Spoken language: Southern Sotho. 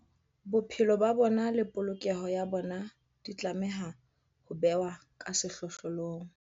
Bophelo ba bona le polokeho ya bona di tlameha ho bewa ka sehlohlolong.